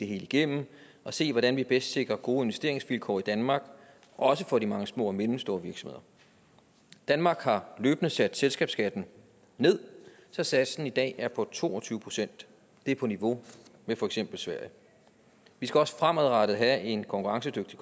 hele igennem og se hvordan vi bedst sikrer gode investeringsvilkår i danmark også for de mange små og mellemstore virksomheder danmark har løbende sat selskabsskatten ned så satsen i dag er på to og tyve procent det er på niveau med for eksempel sverige vi skal også fremadrettet have en konkurrencedygtig